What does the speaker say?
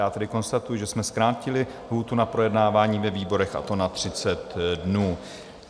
Já tedy konstatuji, že jsme zkrátili lhůtu na projednávání ve výborech, a to na 30 dnů.